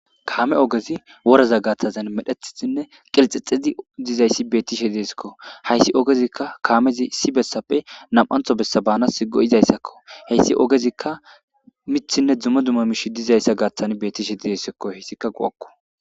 Kaame ogezi woraza gaathtazan medhetisinne qilxexizi dizayssi bettishe deesekko hayssi ogezikka kaamezi issi bessappe nam'antho bessa baanas go'izayssakko heyssi ogezikka mithinne dzumo duma mish dizayssa gaaththan bettishe dizessekko heyssikka go'akko.